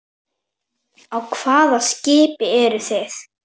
Á hvaða skipi eru þið?